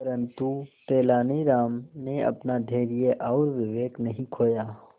परंतु तेलानी राम ने अपना धैर्य और विवेक नहीं खोया